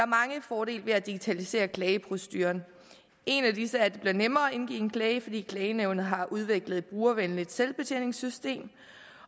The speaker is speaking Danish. mange fordele ved at digitalisere klageproceduren en af disse er at det bliver nemmere at indgive en klage fordi klagenævnet har udviklet et brugervenligt selvbetjeningsssystem